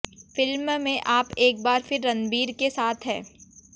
film में आप एक बार फिर रणबीर के साथ हैं